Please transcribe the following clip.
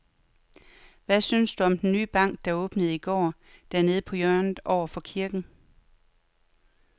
Hvad synes du om den nye bank, der åbnede i går dernede på hjørnet over for kirken?